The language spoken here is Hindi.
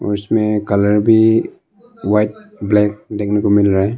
उसमें कलर भी व्हाइट ब्लैक देखने को मिल रहा है।